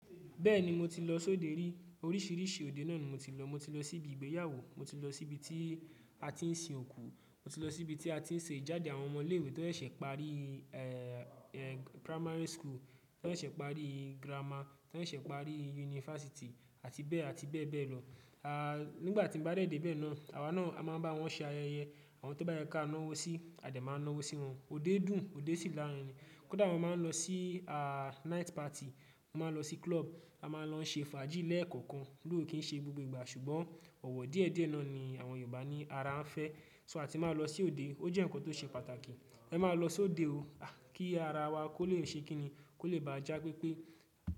Bẹ́ẹ̀ni, mo ti lọ sóde rí, oríṣìíríṣìí òde náà ni mo ti lọ. Mo ti lọ sí ibi ìgbéyàwó, mo ti lọ sí ibi tí a ti ń sin òkú, mo ti lọ sí ibi tí a ti ń ṣe ìjáde àwọn ọmọ ilé ìwé tó ṣẹ̀ pari eh eh primary school, tó ṣẹ̀ ṣe pari grammar, tó ṣẹ̀ pari unifásítì àti bẹ́ẹ̀ àti bẹ́ẹ̀ bẹ́ẹ̀ lọ. Aaa, nígbà tí mo bá dé dè bẹ́ẹ̀ náà àwa náà a máa ń bá wọn ṣe ayẹyẹ, àwọn tó bá yẹ ká ńáwọ́ sí a dẹ̀ máa ńáwọ́ sí wọn. Òde dùn, òde sì lárinrin. Kódà wọ́n máa ń lọ sí aa night party, wọ́n máa ń lọ sí club, a máa lọ ṣe fàájì lẹ́ẹ̀kọ̀kan. Sò kí n ṣe gbogbo ìgbà, ṣùgbọ́n ọ̀wọ̀ díẹ̀ díẹ̀ náà ni àwọn Yorùbá ni ara ń fẹ́. So a ti máa lọ sí òde, ó jẹ́ ǹkan tó ṣe pàtàkì. Ẹ máa lọ sóde o, kí ara wa kó lè ṣe kini, kó lè báa já pépé.